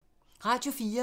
Radio 4